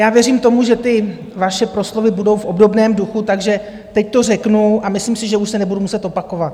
Já věřím tomu, že ty vaše proslovy budou v obdobném duchu, takže teď to řeknu a myslím si, že už se nebudu muset opakovat.